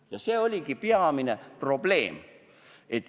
Ja see oligi peamine probleem.